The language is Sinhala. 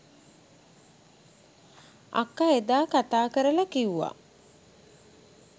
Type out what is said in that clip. අක්ක එදා කතා කරලා කිව්වා